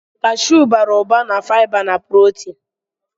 Kashụụ bara ụba na fiba na prọtin.